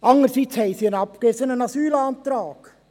Andererseits haben sie einen abgewiesenen Asylantrag.